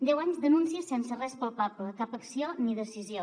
deu anys d’anuncis sense res palpable cap acció ni decisió